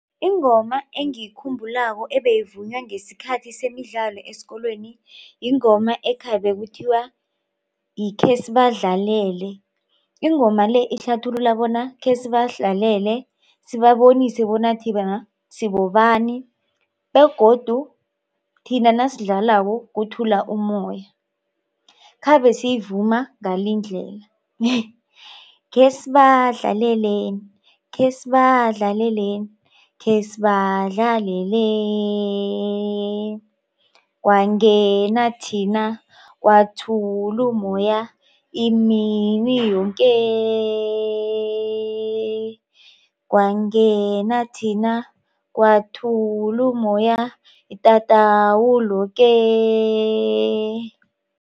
Ingoma engiyikhumbulako ebeyivunywa ngesikhathi semidlalo esikolweni yingoma ekhabe kuthiwa khesibadlalele. Ingoma le ihlathulula bona khesibadlalele sibabonise bona sibobani begodu thina nasidlalako kuthula ummoya khabesiyivuma ngalindlela, khesibadlalele khesibadlalele khesibadlalele kwangethina kwathula mmoya imini yoke kwangethina kwathula mmoya itatawu loke.